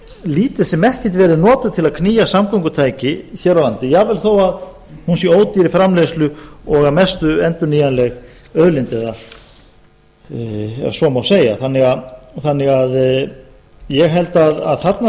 lítið sem ekkert verið notuð til að knýja samgöngutæki hér á landi jafnvel þó hún sé ódýr í framleiðslu og að mestu endurnýjanleg auðlind ef svo má segja þannig að ég held að þarna